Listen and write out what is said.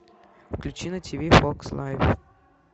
включи на тиви фокс лайф